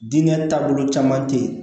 Diinɛ taabolo caman tɛ ye